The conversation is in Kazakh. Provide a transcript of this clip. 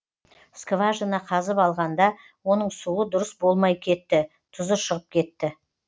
скажина қазып алғанда оның суы дұрыс болмай кетті тұзы шығып кетті